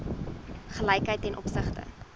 gelykheid ten opsigte